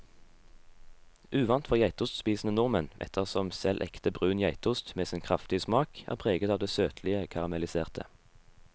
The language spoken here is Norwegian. Uvant for geitostspisende nordmenn, ettersom selv ekte brun geitost med sin kraftige smak er preget av det søtlige karamelliserte.